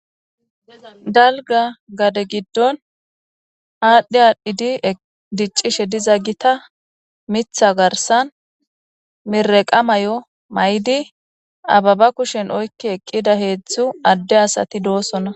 Dalga gade giddon aadhdhi aadhdhidi diccishe diza gita mitha garsan mireqa may;o may'di ababa kushen oykki eqqida heedzdzu adde asati doosona.